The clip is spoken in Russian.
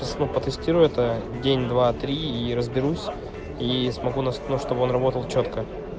теста протестироватая день два три и разберусь и смогу нас ну чтобы он работал чётко